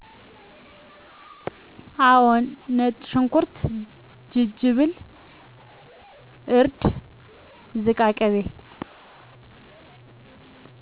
አው ነጭሽኩርት ጅጅብል እርድ ዝቃቅቤ